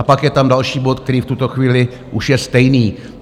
A pak je tam další bod, který v tuto chvíli už je stejný.